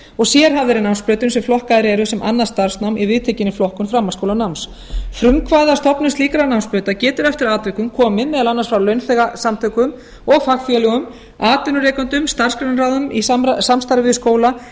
og sérhæfðari námsbrautum sem flokkaðar eru sem annað starfsnám í viðtekinni flokkun framhaldsskólanáms frumkvæði að stofnun slíkra námsbrauta getur eftir atvikum komið meðal annars frá launþegasamtökum og fagfélögum atvinnurekendum starfsgreinaráðum í samstarfi við skóla